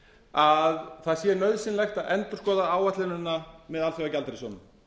að það sé nauðsynlegt að endurskoða áætlunina með alþjóðagjaldeyrissjóðnum